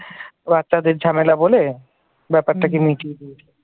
বাচ্চাদের ঝামেলা বলে ব্যাপারটাকে মিটিয়ে দিয়েছিল ।